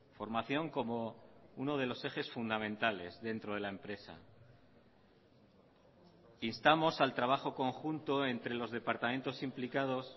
formación como uno de los ejes fundamentales dentro de la empresa instamos al trabajo conjunto entre los departamentos implicados